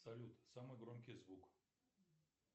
салют самый громкий звук